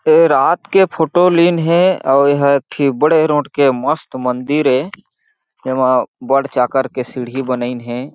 ए रात के फोटो लीन हे अउ एह ए ठी बड़े रोट के मस्त मंदिर हे एमा बढ़ चाकर के सीढ़ी बनाइन हे।